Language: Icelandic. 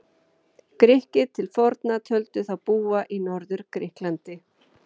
Grikkir til forna töldu þá búa í Norður-Grikklandi.